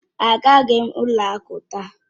Agaghị m ụlọ akụ taa